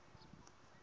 i mani loyi a a